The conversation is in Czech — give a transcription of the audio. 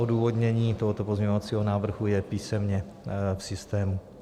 Odůvodnění tohoto pozměňovacího návrhu je písemně v systému.